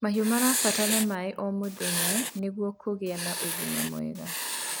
mahiũ marabatara maĩ o mũthenya nĩguo kugia na ũgima mwega